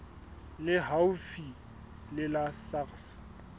le haufi le la sars